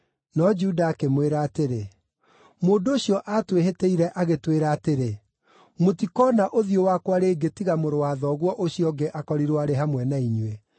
No Juda akĩmwĩra atĩrĩ, “Mũndũ ũcio aatwĩhĩtĩire agĩtwĩra atĩrĩ, ‘Mũtikoona ũthiũ wakwa rĩngĩ tiga mũrũ wa thoguo ũcio ũngĩ akorirwo arĩ hamwe na inyuĩ.’